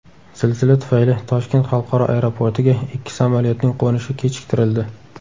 Zilzila tufayli Toshkent xalqaro aeroportiga ikki samolyotning qo‘nishi kechiktirildi.